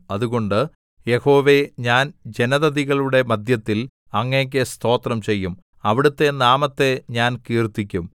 അതുകൊണ്ട് യഹോവേ ഞാൻ ജനതതികളുടെ മദ്ധ്യത്തിൽ അങ്ങേക്കു സ്തോത്രം ചെയ്യും അവിടുത്തെ നാമത്തെ ഞാൻ കീർത്തിക്കും